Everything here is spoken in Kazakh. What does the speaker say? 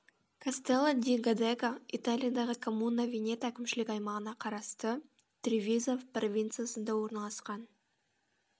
кастелло ди годего италиядағы коммуна венето әкімшілік аймағына қарасты тревизо провинциясында орналасқан